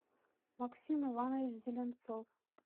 максим иванович зеленцов